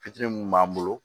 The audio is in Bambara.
Fitiri mun b'an bolo